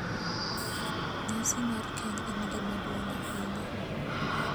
Nyasi mar keny en gima duong’ ahinya,